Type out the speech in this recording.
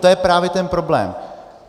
To je právě ten problém.